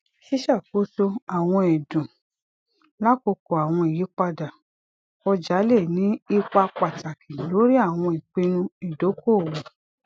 ṣiṣakoso awọn ẹdun lakoko awọn iyipada ọja le ni ipa pataki lori awọn ipinnu idokoowo